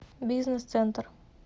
бизнесцентр